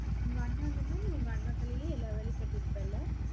உங்க அண்ணன் இருந்தா நீ உங்க அண்ணா தலையிலே, எல்லா வேலையும் கட்டி இருப்பேல்லே?